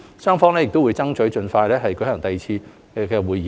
雙方會爭取盡快舉行第二次對接會議。